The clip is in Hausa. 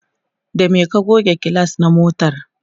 da me ka goge gilas na motar?